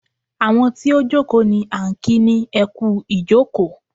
Àwọn tí ó jókòó ní à ń kí ni ẹ kú ìjókòó.